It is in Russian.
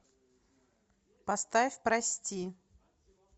поставь прости